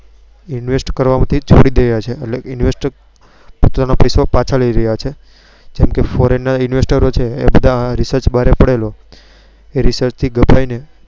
invest કરવા માં થી છોડી ગયા છે એટલે invest પોતા નો પૈસો પાછો લઇ રહ્યા છે જેમ કે Foreign ના investro ગભરાઈ ને